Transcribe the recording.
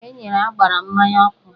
E nyere ágbárá mmanya ọkụ